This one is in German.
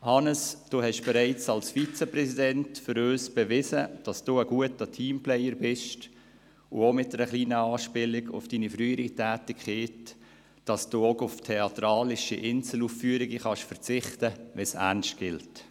Hannes Zaugg, Sie haben uns bereits als Vizepräsident bewiesen, dass Sie ein guter Teamplayer sind – auch mit einer kleinen Anspielung auf Ihre frühere Tätigkeit – und auf theatralische Einzelaufführungen verzichten können, wenn es ernst gilt.